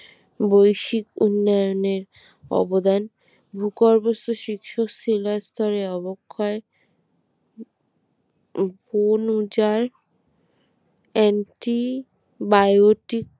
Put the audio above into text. বৈশ্বিক উন্নয়নের অবদান ভূগর্ভস্থ শিশু শিলাস্তরে অবক্ষয় ভ্রূণ ওজার anti biotic